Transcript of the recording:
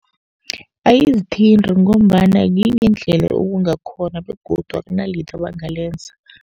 Ayizithinti ngombana yinye indlela okungakhona begodu akunalitho abangalenza.